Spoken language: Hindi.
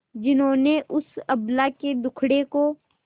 जिन्होंने उस अबला के दुखड़े को